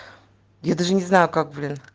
я даже не знаю как блин